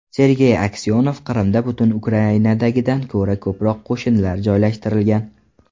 Sergey Aksyonov: Qrimda butun Ukrainadagidan ko‘ra ko‘proq qo‘shinlar joylashtirilgan.